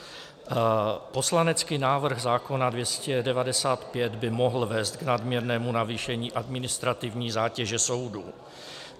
Poslanecký návrh zákona 295 by mohl vést k nadměrnému navýšení administrativní zátěže soudů.